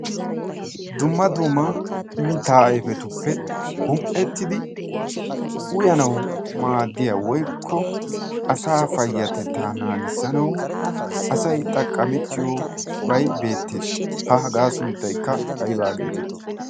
dumma duma mittaa ayfetuppe gum''ettidi uyanawu maaddiya woykko asa payyatettaa naagissanau asai xaqqamettiyo bay beettees ha hagaa sunttaykka aibaa geetettii